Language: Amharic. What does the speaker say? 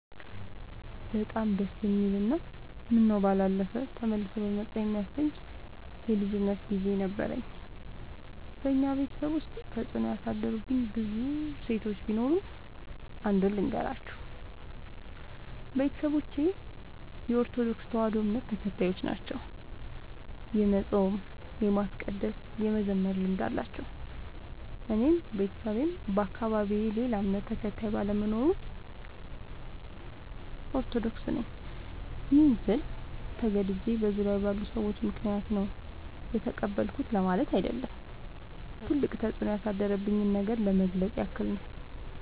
በጣም ደስ የሚል እና ምነው ባላለፈ ተመልሶ በመጣ የሚያሰኝ የልጅነት ግዜ ነበረኝ። በኛ ቤተሰብ ውስጥ ተፅዕኖ ያሳደሩብኝ ብዙ እሴቶች ቢኖሩም። አንዱን ልገራችሁ፦ ቤተሰቦቼ የኦርቶዶክስ ተዋህዶ እምነት ተከታዮች ናቸው። የመፃም የማስቀደስ የመዘመር ልምድ አላቸው። እኔም በቤተሰቤም በአካባቢዬም ሌላ እምነት ተከታይ ባለመኖሩ። ኦርቶዶክስ ነኝ ይህን ስል ተገድጄ በዙሪያዬ ባሉ ሰዎች ምክንያት ነው የተቀበልኩት ለማለት አይደለም ትልቅ ተፅኖ ያሳደረብኝን ነገር ለመግለፅ ያክል ነው።